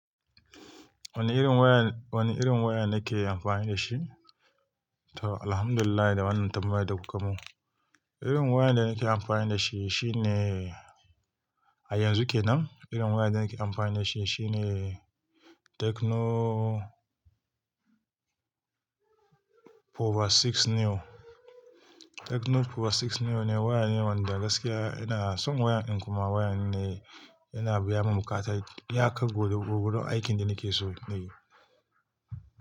Wani irin wayan, wani irin waya nake amfani da shi? To, Alhamdulillah da wannan tambayar da kuka mun. Irin wayar da nake amfani da shi shine, a yanzu kenan, irin wayar da nake amfani da shi shine Tecno Power Six New. Tecno Power Six New ne waya ne wanda gaskiya yana son wayan ƙuma waya ne yana biya min buƙatai, ya kai gudu aikin da nake so na yi.